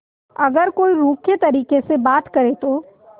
अगर कोई रूखे तरीके से बात करे तो